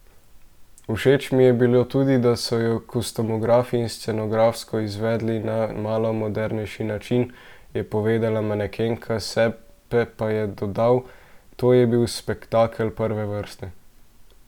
Všeč mi je bilo tudi, da so jo kostumografsko in scenografsko izvedli na malo modernejši način,' je povedala manekenka, Sepe pa je dodal: 'To je bil spektakel prve vrste!